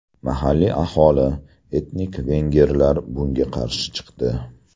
Mahalliy aholi – etnik vengerlar bunga qarshi chiqdi.